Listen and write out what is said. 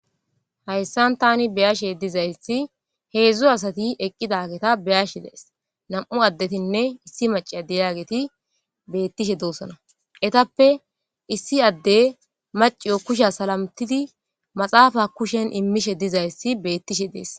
Hayisani tani beyashshe dizayisi hezdzdu asati eqida geta beashe dayis namu adetine issi macca deiyageti betishe dosona eyitappe issi adeyi kushs sarotidi maaxidappa kusheni imishshe dizayisi betishe deesi